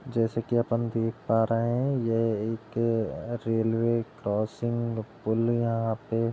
जैसे कि अपन देख पा रहे हैं यह एक रेलवे क्रॉसिंग पुल यहाँ पे --